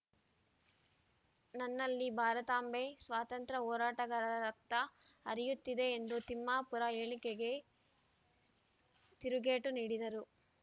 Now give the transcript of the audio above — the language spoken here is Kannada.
ನನ್ನಲ್ಲಿ ಭಾರತಾಂಬೆ ಸ್ವಾತಂತ್ರ್ಯ ಹೋರಾಟಗಾರರ ರಕ್ತ ಹರಿಯುತ್ತಿದೆ ಎಂದು ತಿಮ್ಮಾಪುರ ಹೇಳಿಕೆಗೆ ತಿರುಗೇಟು ನೀಡಿದರು